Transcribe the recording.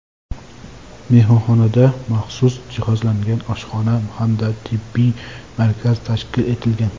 Mehmonxonada maxsus jihozlangan oshxona hamda tibbiyot markazi tashkil etilgan.